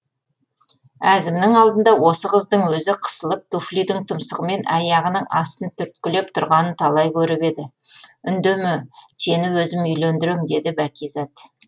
әзімнің алдында осы қыздың өзі қысылып туфлидің тұмсығымен аяғының астын түрткілеп тұрғанын талай көріп еді үндеме сені өзім үйлендірем деді бәкизат